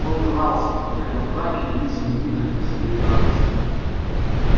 он дрался находя в драке единственный выход для своей радости